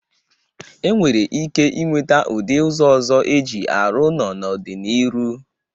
E nwere ike inweta ụdị ụzọ ọzọ e ji arụ ụnọ n'ọ dị n'iru.